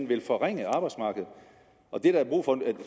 vil forringe arbejdsmarkedet og det der er brug for